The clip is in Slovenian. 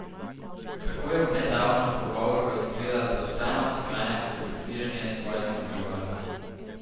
Tako je v nedavnem pogovoru razkrila, da vztrajno odklanja fotografiranje s svojimi oboževalci.